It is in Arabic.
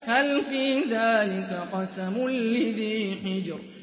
هَلْ فِي ذَٰلِكَ قَسَمٌ لِّذِي حِجْرٍ